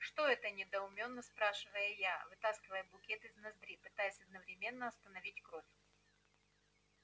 что это недоумённо спрашиваю я вытаскивая букет из ноздри пытаясь одновременно остановить кровь